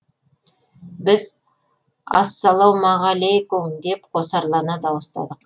біз ассалаумағалүйкүм деп қосарлана дауыстадық